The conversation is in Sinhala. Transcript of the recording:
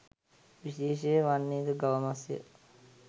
විශේෂය වන්නේද ගව මස්ය